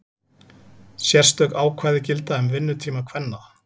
Sérstök ákvæði gilda um vinnutíma kvenna.